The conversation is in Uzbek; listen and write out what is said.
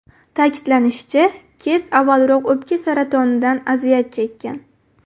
Ta’kidlanishicha, Kes avvalroq o‘pka saratonidan aziyat chekkan.